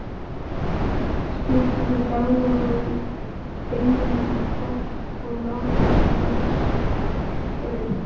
Skiptið deiginu í tvennt og mótið kringlótt brauð.